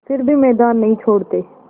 फिर भी मैदान नहीं छोड़ते